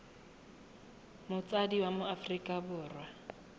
motsadi wa mo aforika borwa